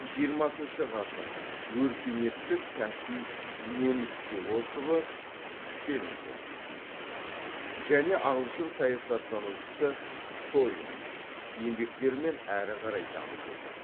жиырмасыншы ғасыр өркениеттік тәсіл неміс философы шпенглер және ағылшын саясаттанушысы тойнби еңбектерімен әрі қарай дамытылды